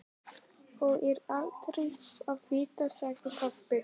Þó er aldrei að vita, sagði pabbi.